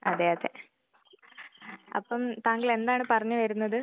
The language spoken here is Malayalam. അതെ അതെ. അപ്പം താങ്കള് എന്താണ് പറഞ്ഞ് വരുന്നത്?